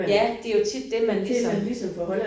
Ja det jo tit det man ligesom